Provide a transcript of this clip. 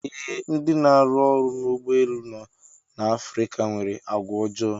Ee, ndị na-arụ ọrụ n'ụgbọ elu no n'Afrika nwere àgwàọjọọ.